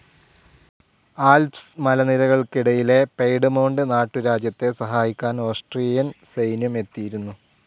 Alps മലനിരകള്ക്കിടയിലെ Piedmont നാട്ടുരാജ്യത്തെ സഹായിക്കാൻ ഓസ്ട്രിയൻ സൈന്യം എത്തിയിരുന്നു.